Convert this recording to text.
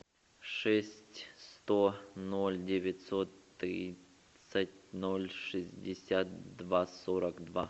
шесть сто ноль девятьсот тридцать ноль шестьдесят два сорок два